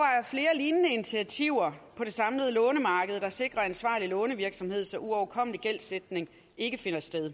lignende initiativer på det samlede lånemarked der sikrer ansvarlig lånevirksomhed så uoverkommelig gældsætning ikke finder sted